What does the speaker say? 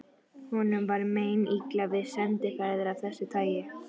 Honum var meinilla við sendiferðir af þessu tagi.